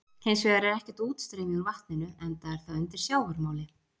Hins vegar er ekkert útstreymi úr vatninu enda er það undir sjávarmáli.